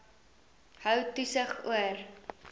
hou toesig oor